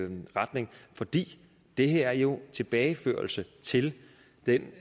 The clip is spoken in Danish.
den retning fordi det her jo en tilbageførsel til den